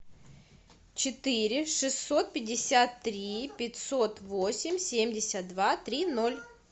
четыре шестьсот пятьдесят три пятьсот восемь семьдесят два три ноль